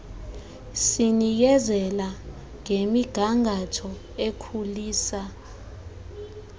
sinikezela ngemigangatho ekhulisa